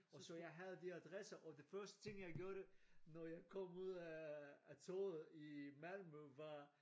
Og så jeg havde de adresser og det første ting jeg gjorde når jeg kom ud af toget i Malmø var